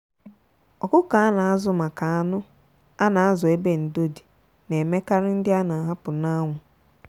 ọkụkọ a na azụ maka anụ a na azụ ebe ndo dị na emekarị ndị a na ahapụ n'anwu.